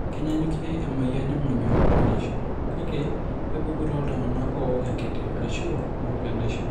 Kenyaanyukie umuoyian emonyua enaishio, kake kepuku tooltung'anak ook enkiti ashu meok enaishio.